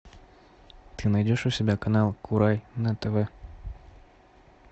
ты найдешь у себя канал курай на тв